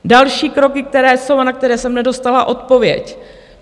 Další kroky, které jsou a na které jsem nedostala odpověď.